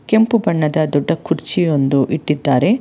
ಕೆಂಪು ಬಣ್ಣದ ದೊಡ್ಡ ಕುರ್ಚಿಯೊಂದು ಇಟ್ಟಿದ್ದಾರೆ.